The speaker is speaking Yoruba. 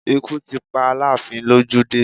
Ikú ti pa Aláàfin lójú dé